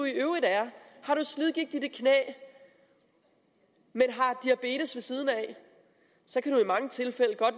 i øvrigt er har du slidgigt i dit knæ men har diabetes ved siden af så kan du i mange tilfælde godt